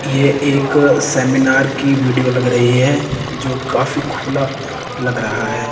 ये एक सेमिनार की वीडियो लग रही है जो काफी खुला लग रहा है।